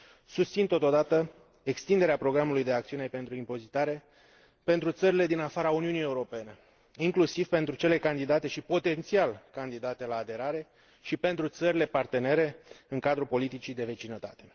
Susțin, totodată, extinderea programului de acțiune pentru impozitare pentru țările din afara Uniunii Europene, inclusiv pentru cele candidate și potențial candidate la aderare și pentru țările partenere în cadrul politicii de vecinătate.